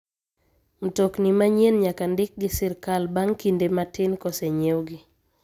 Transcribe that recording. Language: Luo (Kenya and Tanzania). Mtokni manyien nyaka ndik gi sirkal bang' kinde matin kosenyiewgi.